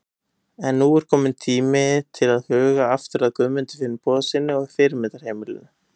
En nú er tími til kominn til að huga aftur að Guðmundi Finnbogasyni og fyrirmyndarheimilinu.